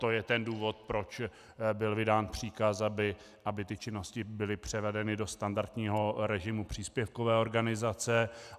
To je ten důvod, proč byl vydán příkaz, aby ty činnosti byly převedeny do standardního režimu příspěvkové organizace.